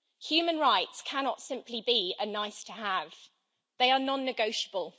Human rights cannot simply be a nice to have', they are non negotiable.